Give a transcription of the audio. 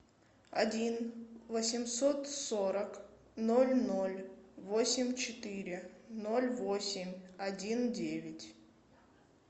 один восемьсот сорок ноль ноль восемь четыре ноль восемь один девять